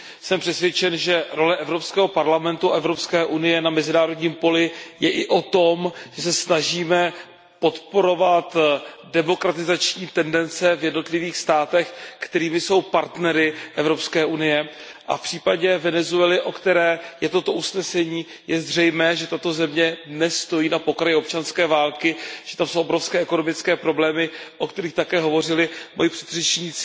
Jsem přesvědčen, že role Evropského parlamentu a Evropské unie na mezinárodním poli je i o tom, že se snažíme podporovat demokratizační tendence v jednotlivých státech, které jsou partnery Evropské unie, a v případě Venezuely, o které je toto usnesení, je zřejmé, že tato země dnes stojí na pokraji občanské války, že tam jsou obrovské ekonomické problémy, o kterých také hovořili moji předřečníci.